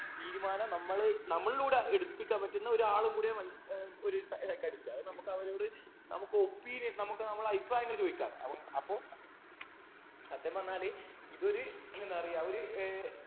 തീരുമാനം നമ്മള് നമ്മളിലൂടെ എടുപ്പിക്കാൻ പറ്റുന്ന ഒരാളുംകൂടിയ ഏർ ഒരു psychiatrist അത് നമുക്ക് അവരോട് നമുക് opinion നമുക്ക് നമ്മളെ അഭിപ്രായങ്ങൾ ചോദിക്കാം അപ്പം അപ്പൊ സത്യം പറഞ്ഞാല് ഇതൊരു എന്താ പറയാ ഒര് ഏർ